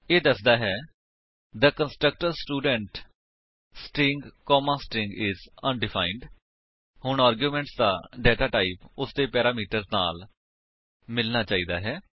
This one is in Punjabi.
ਇਹ ਦੱਸਦਾ ਹੈ ਕਿThe constructor student string comma string is undefined ਹੁਣ ਆਰਗਿਉਮੇਂਟ ਦਾ ਡੇਟਾ ਟਾਈਪ ਉਸਦੇ ਪੈਰਾਮੀਟਰ ਦੇ ਨਾਲ ਮਿਲਣਾ ਚਾਹੀਦਾ ਹੈ